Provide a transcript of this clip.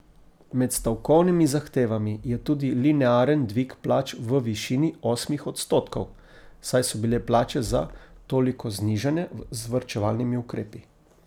Med stavkovnimi zahtevami je tudi linearen dvig plač v višini osmih odstotkov, saj so bile plače za toliko znižane z varčevalnimi ukrepi.